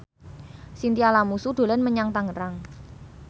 Chintya Lamusu dolan menyang Tangerang